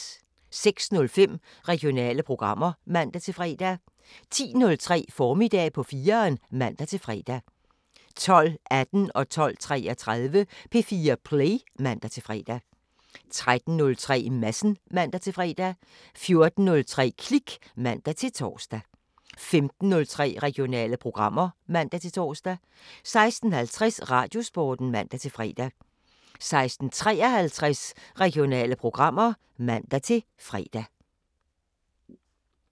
06:05: Regionale programmer (man-fre) 10:03: Formiddag på 4'eren (man-fre) 12:18: P4 Play (man-fre) 12:33: P4 Play (man-fre) 13:03: Madsen (man-fre) 14:03: Klik (man-tor) 15:03: Regionale programmer (man-tor) 16:50: Radiosporten (man-fre) 16:53: Regionale programmer (man-fre)